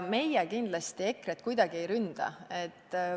Meie kindlasti EKRE-t kuidagi ei ründa.